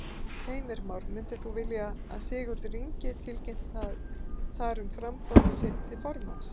Heimir Már: Myndir þú vilja að Sigurður Ingi tilkynnti þar um framboð sitt til formanns?